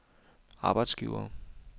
arbejdsgivere